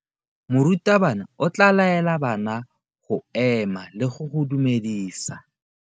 Morutabana o tla laela bana go ema le go go dumedisa.